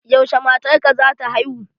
Yaushe matar ka zata haihu?